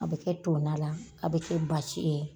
A bɛ kɛ to nan la a bɛ kɛ basi ye.